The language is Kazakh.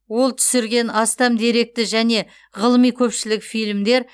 ол түсірген астам деректі және ғылыми көпшілік фильмдер